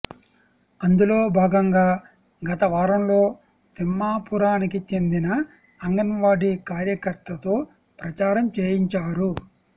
అందులో భాగంగా గత వారంలో తిమ్మాపురానికి చెందిన అంగన్వాడీ కార్యకర్తతో ప్రచారం చేయించారు